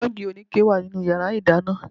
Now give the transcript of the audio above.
Jọ́ọ̀gì oníke wà nínú yàrá ìdáná